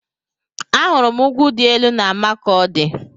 Ahụrụ m ugwu dị elu na Makọdi